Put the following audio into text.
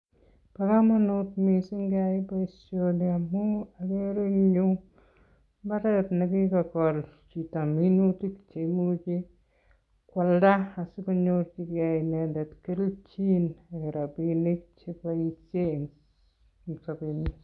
Bo komonut missing keyai boishoni amun nii ko mbaret nekikokol chito minutia neimuche koalda asikonyoor inendet kelchin Nebo rabinik cheboishien en sobenyiin